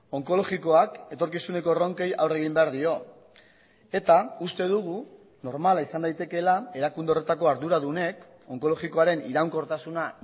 onkologikoak etorkizuneko erronkei aurre egin behar dio eta uste dugu normala izan daitekeela erakunde horretako arduradunek onkologikoaren iraunkortasuna